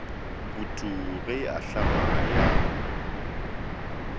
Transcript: putu ge e ahlama ya